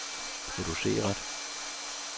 produceret